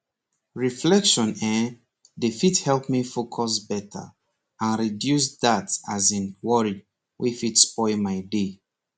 reflection[um]dey help me focus better and reduce that as in worry wey fit spoil my day